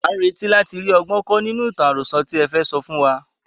À ń retí láti rí ọgbọ́n kọ́ nínú ìtàn àròso tí ẹ fẹ́ sọ fún wa.